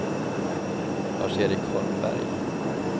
Lars-Erik Holmberg